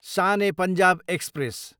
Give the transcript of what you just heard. San e Punjab express